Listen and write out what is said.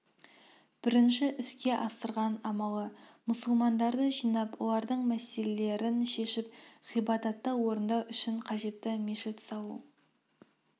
бірінші іске асырған амалы мұсылмандарды жинап олардың мәселелерін шешіп ғибадатты орындау үшін қажет мешітті салу